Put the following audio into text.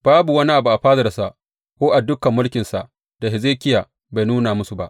Babu wani abu a fadansa ko a dukan mulkinsa da Hezekiya bai nuna musu ba.